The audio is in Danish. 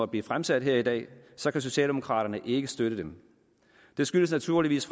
blive fremsat her i dag så kan socialdemokraterne ikke støtte dem det skyldes naturligvis